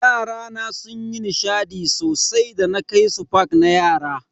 Yarana sunyi nishadi sosai da na kai su park na yara.